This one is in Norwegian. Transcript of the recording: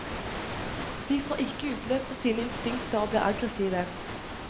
De får ikke utløp for sine instinkter og blir aggressive.